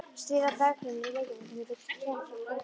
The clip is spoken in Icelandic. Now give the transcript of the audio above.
Snið af berggrunni Reykjavíkur milli Klepps og Fossvogs.